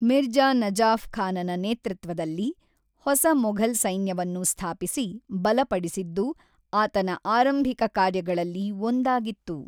ಮಿರ್ಜಾ ನಜಾಫ್ ಖಾನನ ನೇತೃತ್ವದಲ್ಲಿ ಹೊಸ ಮೊಘಲ್ ಸೈನ್ಯವನ್ನು ಸ್ಥಾಪಿಸಿ ಬಲಪಡಿಸಿದ್ದು ಆತನ ಆರಂಭಿಕ ಕಾರ್ಯಗಳಲ್ಲಿ ಒಂದಾಗಿತ್ತು.